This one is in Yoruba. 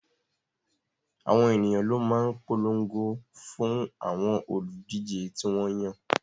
Àwọn ènìyàn ló máa ń polongo fún àwọn olùdíje tí wọ́n yàn